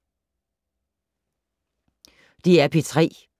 DR P3